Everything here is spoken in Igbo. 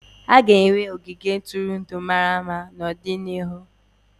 A ga-enwe ogige ntụrụndụ mara mma n'ọdịnihu.